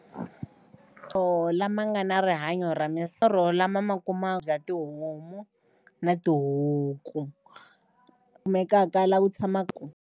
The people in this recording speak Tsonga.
Or lama nga na rihanyo ra lama ma kuma bya tihomu na tihuku kumekaka laha ku tshamaku.